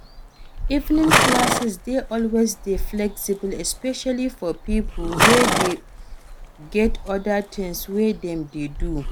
Evening classes dey always dey flexible especially for pipo wey get oda things wey dem dey do